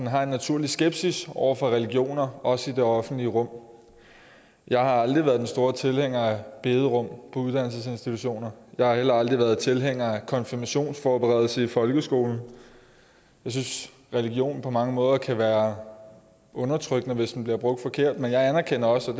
har en naturlig skepsis over for religioner også i det offentlige rum jeg har aldrig været den store tilhænger af bederum på uddannelsesinstitutioner jeg har heller aldrig været tilhænger af konfirmationsforberedelse i folkeskolen jeg synes religion på mange måder kan være undertrykkende hvis den bliver brugt forkert men jeg anerkender også